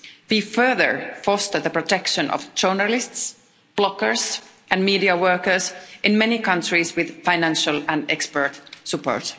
We, further, foster the protection of journalists, bloggers and media workers in many countries with financial and expert support.